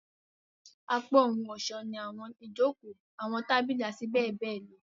Apá ohun-ọṣọ ni awọn ijoko, awọn tabili, ati bẹbẹ lọ.